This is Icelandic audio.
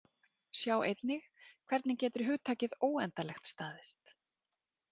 Sjá einnig: Hvernig getur hugtakið óendanlegt staðist?